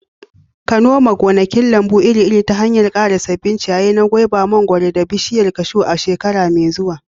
ka noma gonakin lambu iri-iri ta hanyar ƙara sabbin ciyayi na goba, mangwaro, da bishiyar kashu a shekara mai zuwa.